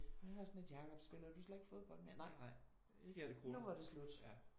Jeg har sådan lidt Jacob spiller du ikke fodbold mere? Nej nu var det slut